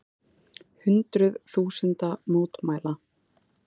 Hundruð þúsunda mótmæla